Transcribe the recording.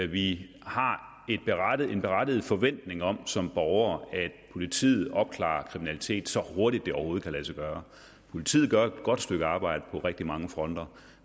vi har en berettiget forventning om som borgere at politiet opklarer kriminalitet så hurtigt det overhovedet kan lade sig gøre politiet gør et godt stykke arbejde på rigtig mange fronter